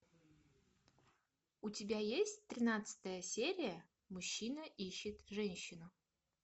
у тебя есть тринадцатая серия мужчина ищет женщину